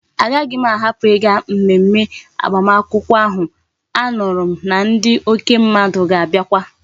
A gahi m a hapu iga mmemme agbam akwukwo ahu anuru m na ndi oke mmadu ga abiakwa